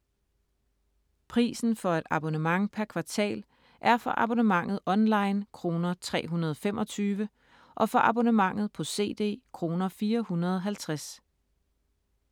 Prisen for et abonnement per kvartal er for abonnementet online kr. 325 og for abonnementet på CD kr. 450.